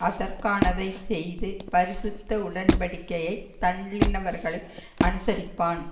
அதற்கானதை செய்து பரிசுத்த உடன்படிக்கையைத் தள்ளினவர்களை அநுசரிப்பான்